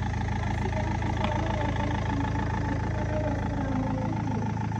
thaa cigana cia rũgendokuuma haha nginya nairobi na mũgithi